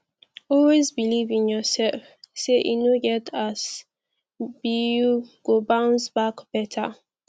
always beliv in urself say e no get as bi yu go bounce back beta